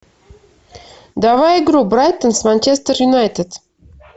давай игру брайтон с манчестер юнайтед